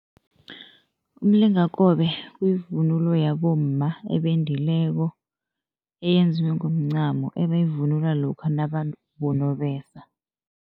Umlingakobe kuyivunulo yabomma ebendileko, eyenziwe ngomncamo, ebayivunula lokha nababo nobesa.